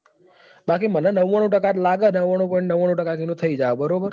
બાકી મને તો નવ્વાણું ટકા લાગે છે કે નવ્વાણું point નવ્વાણું ટકા તો થઇ જાશે બરાબર.